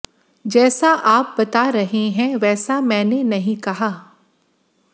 जैसा आप बता रहे हैं वैसा मैने नहीं कहा